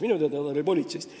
Minu teada oli ta politseist.